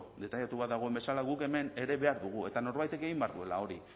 detailatua dagoen bezala guk hemen ere behar dugu eta norbaitek egin behar duela hori